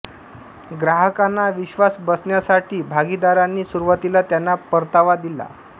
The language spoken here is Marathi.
ग्राहकांना विश्वास बसण्यासाठी भागीदारांनी सुरुवातीला त्यांना परतावा दिला